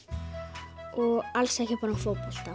og alls ekki bara um fótbolta